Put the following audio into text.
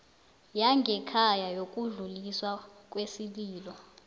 yangekhaya yokudluliswa kwesililo